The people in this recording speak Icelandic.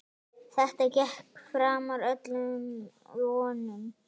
Þetta gekk framar öllum vonum.